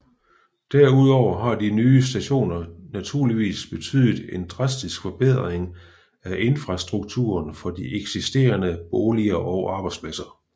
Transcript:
Derudover har de nye stationer naturligvis betydet en drastisk forbedring af infrastrukturen for de eksisterende boliger og arbejdspladser